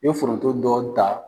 I bɛ foronto dɔɔni ta.